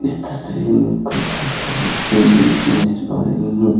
इस तस्वीर में काफी सारी पेंटिंग्स नजर आ रही हैं।